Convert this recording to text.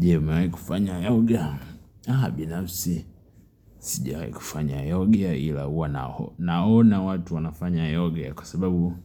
Je, umewahi kufanya yoga? Binafsi, sijawahi kufanya yoga ila huwa naona watu wanafanya yoga kwa sababu